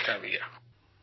نمسکار بھیاّ